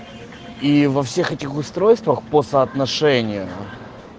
и во всех этих устройствах по соотношению